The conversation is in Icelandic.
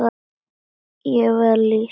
Ég var að lýsa Þuru.